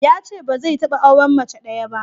Yace ba zai taɓa auren mace ɗaya ba.